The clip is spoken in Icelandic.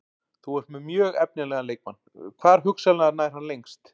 Þú ert með mjög efnilegan leikmann, hvar hugsanlega nær hann lengst?